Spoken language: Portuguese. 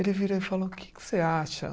Ele virou e falou, que que você acha?